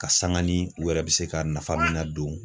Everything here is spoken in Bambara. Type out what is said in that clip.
Ka sanga ni u yɛrɛ bɛ se ka nafa min nadon.